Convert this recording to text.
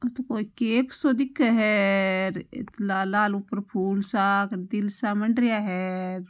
ओ तो कोई केक सो दिखे है लाल लाल ऊपर फूल सा तिलसा मड रिया है र।